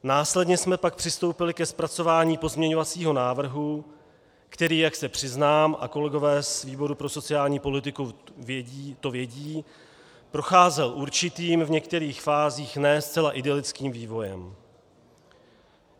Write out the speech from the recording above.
Následně jsme pak přistoupili ke zpracování pozměňovacího návrhu, který, jak se přiznám, a kolegové z výboru pro sociální politiku to vědí, procházel určitým, v některých fázích ne zcela idylickým vývojem.